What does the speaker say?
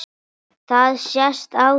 Það sést á þér